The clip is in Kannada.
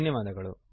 ಧನ್ಯವಾದಗಳು